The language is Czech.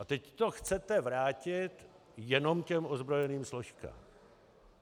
A teď to chcete vrátit jenom těm ozbrojeným složkám.